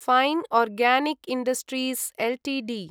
fine organic industries Ltd